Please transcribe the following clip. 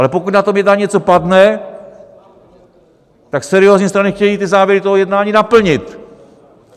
Ale pokud na tom jednání něco padne, tak seriózní strany chtějí ty závěry toho jednání naplnit.